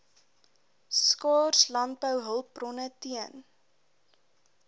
skaars landbouhulpbronne teen